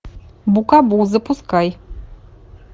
букабу запускай